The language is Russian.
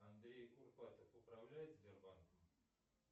андрей курпатов управляет сбербанком